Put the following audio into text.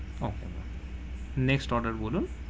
Okay, next order বলুন,